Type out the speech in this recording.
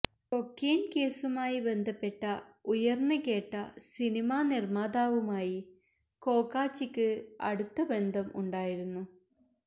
cocaine കേസുമായി ബന്ധപ്പെട്ട ഉയർന്ന് കേട്ട സിനിമാ നിർമ്മാതാവുമായി കോക്കാച്ചിക്ക് അടുത്ത ബന്ധം ഉണ്ടായിരുന്നു